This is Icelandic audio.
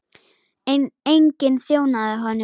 En enginn þjónaði honum.